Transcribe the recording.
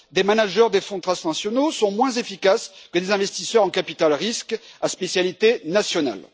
Des managers de fonds transnationaux sont moins efficaces que des investisseurs en capital risque à spécialité nationale.